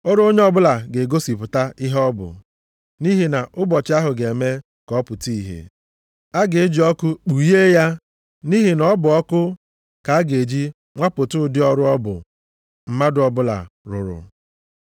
ọrụ onye ọbụla ga-egosipụta ihe ọ bụ, nʼihi na Ụbọchị ahụ ga-eme ka ọ pụta ìhè. A ga-eji ọkụ kpughee ya nʼihi na ọ bụ ọkụ ka a ga-eji nwapụta ụdị ọrụ ọ bụ mmadụ ọbụla rụrụ.